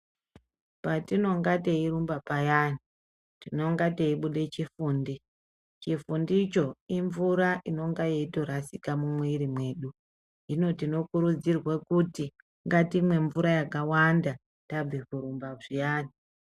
Patinonga teirumba payani tinonga teibude chifundi ,chifundicho imvura inonga yeitorasika mumwiri mwedu, hino tinokurudzirwe kuti ngatimwe mvura yakawanda tabve kurumba zviyani.